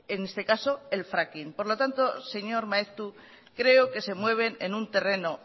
en este caso el fracking por lo tanto señor maeztu creo que se mueven en un terreno